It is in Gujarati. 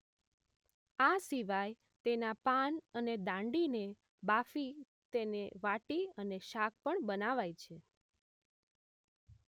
આ સિવાય તેના પાન અને દાંડીને બાફી તેને વાટી અને શાક પણ બનાવાય છે